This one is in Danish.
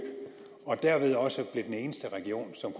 og derved også blev den eneste region som